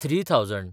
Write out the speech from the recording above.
three thousand